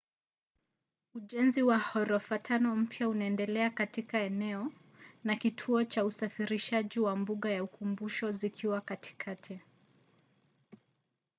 ujenzi wa ghorofa tano mpya unaendelea katika eneo na kituo cha usafirishaji na mbuga ya ukumbusho zikiwa katikati